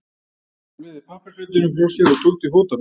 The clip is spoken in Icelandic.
Fleygði pappaspjaldinu frá sér og tók til fótanna.